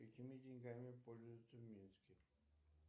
какими деньгами пользуются в минске